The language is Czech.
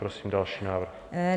Prosím další návrh.